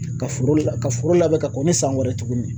Ka foro la ka foro labɛn ka kɔn ni san wɛrɛ ye tuguni.